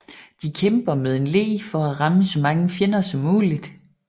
De kæmper med en le for at ramme så mange fjender som muligt